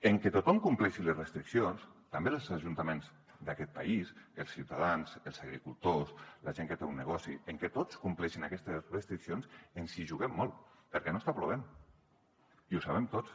en que tothom compleixi les restriccions també els ajuntaments d’aquest país els ciutadans els agricultors la gent que té un negoci en que tots compleixin aquestes restriccions ens hi juguem molt perquè no està plovent i ho sabem tots